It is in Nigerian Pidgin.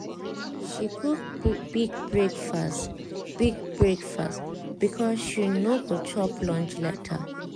she cook big breakfast big breakfast because she no go chop lunch later.